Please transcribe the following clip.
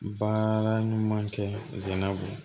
Baara ɲuman kɛ ze na